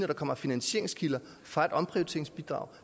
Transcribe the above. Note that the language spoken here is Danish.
der kommer finansieringskilder fra omprioriteringsbidrag